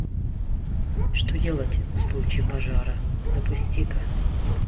что делать в случае пожара запусти ка